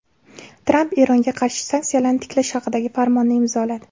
Tramp Eronga qarshi sanksiyalarni tiklash haqidagi farmonni imzoladi.